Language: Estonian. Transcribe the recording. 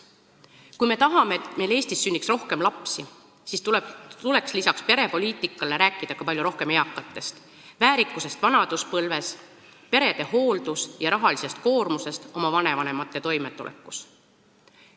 Kui me tahame, et meil Eestis sünniks rohkem lapsi, siis tuleks perepoliitika kõrval rääkida palju rohkem eakatest, väärikusest vanaduspõlves ning perede hooldus- ja rahalisest koormusest oma vanavanemate toimetulekus.